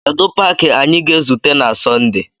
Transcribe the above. Kedu paaki anyị ga-ezute na Sọnde?